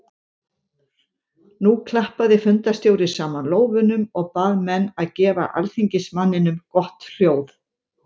Nú klappaði fundarstjóri saman lófunum og bað menn að gefa alþingismanninum gott hljóð.